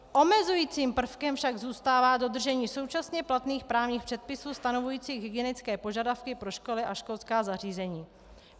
Omezujícím prvkem však zůstává dodržení současně platných právních předpisů stanovujících hygienické požadavky pro školy a školská zařízení.